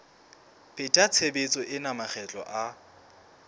pheta tshebetso ena makgetlo a